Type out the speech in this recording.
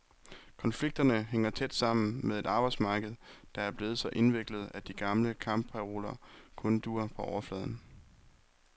Konflikterne hænger tæt sammen med et arbejdsmarked, der er blevet så indviklet, at de gamle kampparoler kun duer på overfladen.